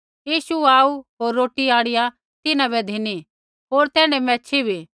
यीशु आऊ होर रोटी आंणिआ तिन्हां बै धिनी होर तैण्ढै मैच्छ़ी भी